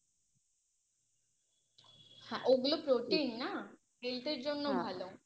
হ্যা ওগুলো Protein না Health এর জন্য ভালো